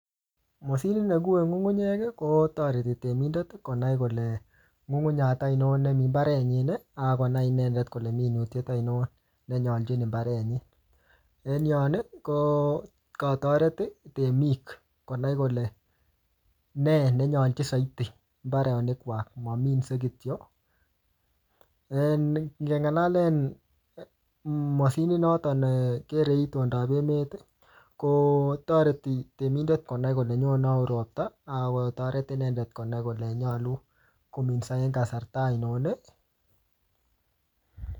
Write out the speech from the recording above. Moshinit negue ng'ung'unyek kotoreti temindet konai kole ng'ung'unyat aino nemi mbarenyin akonai inendet kole minutiet aino nenyolchin mbarenyin, en yon kotoret temik konai kole ne nenyolchin soiti mbarenik kwai mominsei kityo .Moshinit notok nekere itondab emet kotoreti temindet konai kole nyone au ropta akonai kole nyolu kominso en kasarta aino.